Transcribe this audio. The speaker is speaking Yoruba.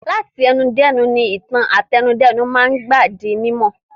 Láti ẹnu dẹ́nu ni ìtàn àtẹnudẹ́nu máa ń gbà di mímọ̀.